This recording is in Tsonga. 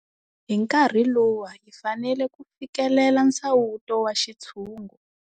Hi nkarhi luwa hi fanele ku fikelela nsawuto wa xintshungu.